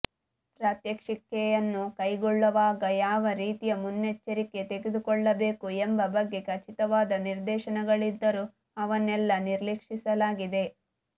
ಪ್ರಾತ್ಯಕ್ಷಿಕೆಯನ್ನು ಕೈಗೊಳ್ಳುವಾಗ ಯಾವ ರೀತಿಯ ಮುನ್ನೆಚ್ಚರಿಕೆ ತೆಗೆದುಕೊಳ್ಳಬೇಕು ಎಂಬ ಬಗ್ಗೆ ಖಚಿತವಾದ ನಿರ್ದೇಶನಗಳಿದ್ದರೂ ಅವನ್ನೆಲ್ಲ ನಿರ್ಲಕ್ಷಿಸಲಾಗಿದೆ